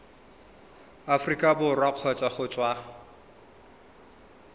aforika borwa kgotsa go tswa